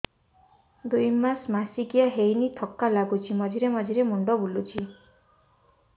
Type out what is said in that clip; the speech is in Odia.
ଦୁଇ ମାସ ମାସିକିଆ ହେଇନି ଥକା ଲାଗୁଚି ମଝିରେ ମଝିରେ ମୁଣ୍ଡ ବୁଲୁଛି